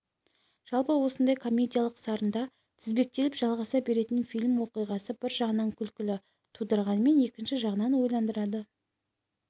жалпы осындай комедиялық сарында тізбектеліп жалғаса беретін фильм оқиғасы бір жағынан күлкі тудырғанымен екінші жағынан ойландырады